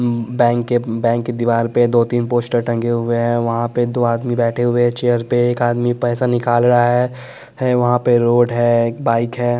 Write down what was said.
Bank के bank के दीवार पे दो तीन पोस्टर टंगे हुए हैं वहाँ पर दो आदमी बैठे हुए हैं चेयर पे एक आदमी पैसा निकाल रहा है वहाँ पे रोड है एक बाइक है।